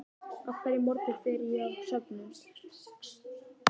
Á hverjum morgni fer ég á söfnin.